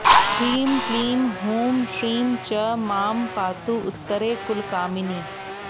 ह्रीं क्लीं हूं श्रीं च मां पातु उत्तरे कुलकामिनी